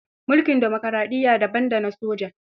Mulkin dimokaraɗiyya daban da na soja.